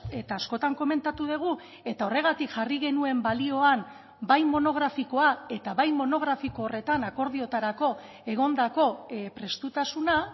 eta askotan komentatu dugu eta horregatik jarri genuen balioan bai monografikoa eta bai monografiko horretan akordioetarako egondako prestutasuna